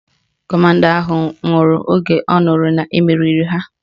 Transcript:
Kọmanda ahụ nwụrụ oge ọ nụrụ na-emeriri ha